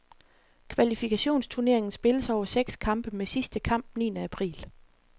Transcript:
Kvalifikationsturneringen spilles over seks kampe med sidste kamp niende april.